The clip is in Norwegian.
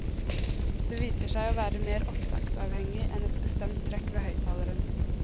Det viser seg å være mere opptaksavhengig, enn et bestemt trekk ved høyttaleren.